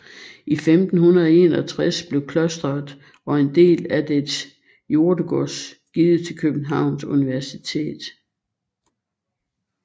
I 1561 blev klosteret og en del af dets jordegods givet til Københavns Universitet